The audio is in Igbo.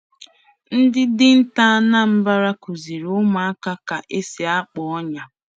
Ndị dinta Anambra kụziri ụmụaka ka esi akpa ọnyà.